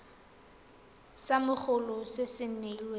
sa mogolo sa se weng